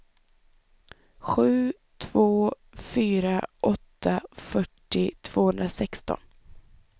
sju två fyra åtta fyrtio tvåhundrasexton